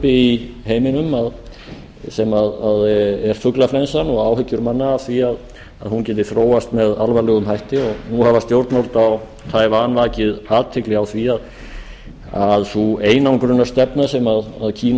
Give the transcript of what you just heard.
í heiminum sem er fuglaflensan og áhyggjur manna af því að hún geti þróast með alvarlegum hætti nú hafa stjórnvöld á taiwan vakið athygli á því að sú einangrunarstefna sem kína